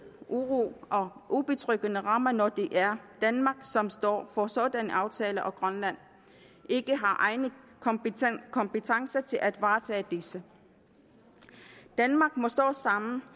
uro og ubetryggende rammer når det er danmark som står for sådanne aftaler og grønland ikke har egne kompetencer kompetencer til at varetage disse danmark må stå sammen